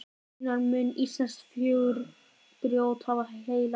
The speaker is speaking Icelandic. Raunar mun íslenskt fjörugrjót hafa heillað Gerði fyrr.